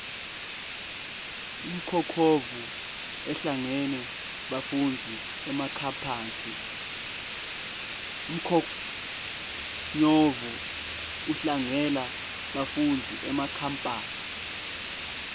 umkhonyovu udlangela bafundzi emakhemphasi